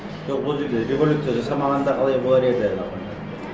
жоқ ол жерге революция жасамағанда қалай болар еді например